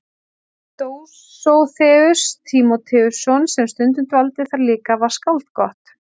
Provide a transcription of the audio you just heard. Dósóþeus Tímóteusson sem stundum dvaldi þar líka var skáld gott.